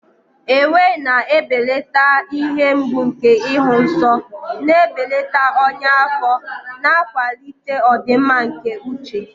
Ewe na-ebelata ihe mgbu nke ịhụ nsọ, na-ebelata ọnya afọ, na-akwalite ọdịmma nke uche.